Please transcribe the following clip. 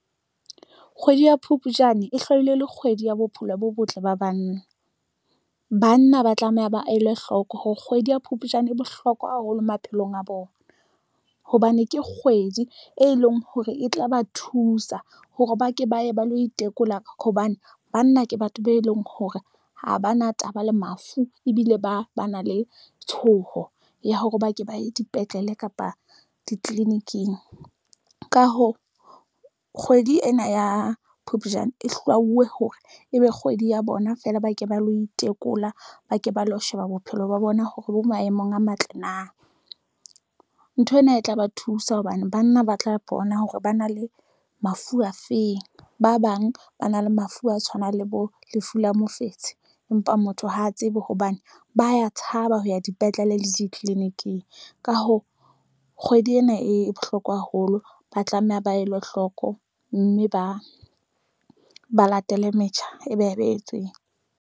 Kgwedi ya Phupjane e le kgwedi ya bophelo bo botle ba banna, banna ba tlameha ba a elwe hloko hore kgwedi ya Phupjane e bohlokwa haholo maphelong a bona hobane ke kgwedi e leng hore e tla ba thusa hore ba ke ba ye ba lo itekola hobane banna ke batho be leng hore ha ba na taba le mafu ebile ba na le tshotleho ya hore ba ke ba ye dipetlele kapa ditleliniking. Ka hoo, kgwedi ena ya Phupjane e hlwauweng hore ebe kgwedi ya bona feela ba ke ba lo itekola, ba ke ba lo sheba bophelo ba bona hore bo maemong a matle. Na nthwena e tla ba thusa hobane banna ba tla bona hore ba na le mafu afeng. Ba bang ba na le mafu a tshwanang le bo lefu la mofetshe. Empa motho ha tsebe hobane ba tshaba ho ya dipetlele le ditleliniking ka ho kgwedi ena e bohloko haholo, ba tlameha ba elwa hloko mme ba ba latele metjha e behetsweng.